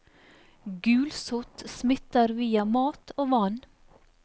Gulsott smitter via mat og vann.